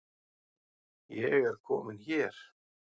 Ég er komin hér